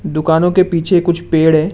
दुकानों के पीछे कुछ पेड़ है।